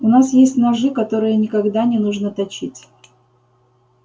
у нас есть ножи которые никогда не нужно точить